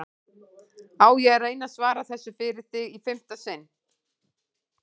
Á ég að reyna að svara þessu fyrir þig í fimmta sinn eða?